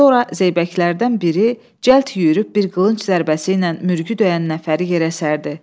Sonra Zeybəklərdən biri cəld yeyüb bir qılınc zərbəsi ilə mürgü döyən nəfəri yerə sərdi.